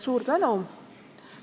Suur tänu!